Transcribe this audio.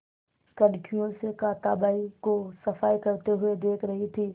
कनखियों से कांताबाई को सफाई करते हुए देख रही थी